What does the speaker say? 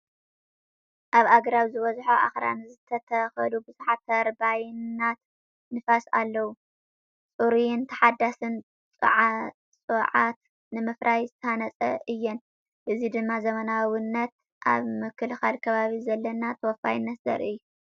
ኣብ ኣግራብ ዝበዝሖ ኣኽራን ዝተተኽሉ ብዙሓት ተርባይናት ንፋስ ኣለዋ፣ ጽሩይን ተሓዳስን ጸዓት ንምፍራይ ዝተሃንጻ እየን። እዚ ድማ ዘመናዊነትን ኣብ ምክልኻል ከባቢ ዘለና ተወፋይነትን ዘርኢ እዩ።